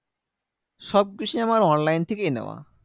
সবকিছু আমার online থেকেই নেওয়া।